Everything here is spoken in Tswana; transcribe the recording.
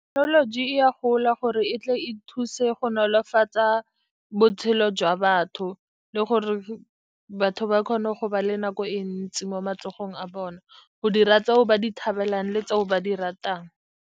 Thekenoloji e a gola gore e tle e thuse go nolofatsa botshelo jwa batho, le gore batho ba kgone go ba le nako e ntsi mo matsogong a bona go dira tseo ba di thabelang le tse o ba di ratang.